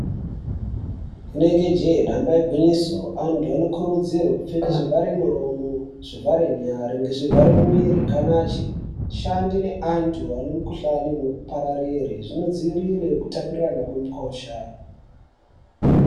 Inenge jee damba igwinyiso antu ano kuridzirwe kupfeke zvivhare muromo zvivhare nyare ngezvi vhare mwiri kana achi shande ne antu ane mi kuhlani ino pararire zvino dziirire kutapurirana kwemi kosha.